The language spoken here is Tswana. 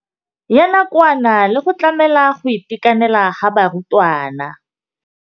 Ya nakwana le go tlamela go itekanela ga barutwana.